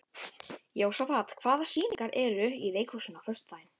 Jósafat, hvaða sýningar eru í leikhúsinu á föstudaginn?